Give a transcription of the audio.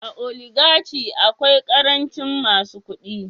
A oligachy akwai karancin masu kudi